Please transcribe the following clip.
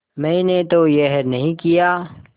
मैंने तो यह नहीं किया